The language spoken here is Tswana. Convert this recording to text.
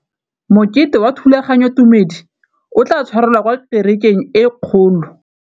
Mokete wa thulaganyôtumêdi o tla tshwarelwa kwa kerekeng e kgolo.